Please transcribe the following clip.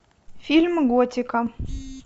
фильм готика